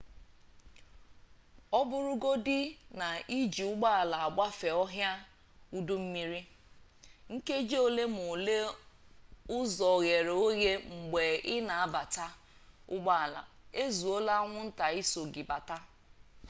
ọbụrụgodi na iji ụgbọala agbafe ọhịa udummiri nkeji ole m'ole ụzọ ghere oghe mgbe ị na-aba ụgbọala ezuola anwụnta iso gị bata